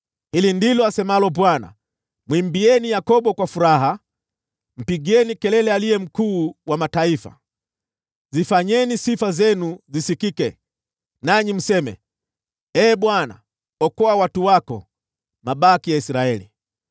Hili ndilo asemalo Bwana : “Mwimbieni Yakobo kwa furaha, mpigieni kelele aliye mkuu wa mataifa. Zifanyeni sifa zenu zisikike, nanyi mseme, ‘Ee Bwana , okoa watu wako, mabaki ya Israeli.’